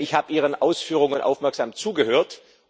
Ich habe Ihren Ausführungen aufmerksam zugehört.